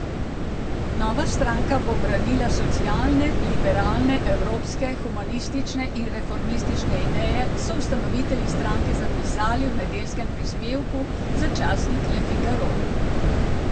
Nova stranka bo branila socialne, liberalne, evropske, humanistične in reformistične ideje, so ustanovitelji stranke zapisali v nedeljskem prispevku za časnik Le Figaro.